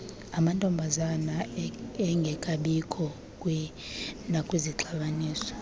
amantombazana engekabikho nakwixabiso